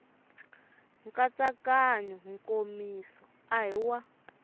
nkatsakanyo nkomiso a hi wa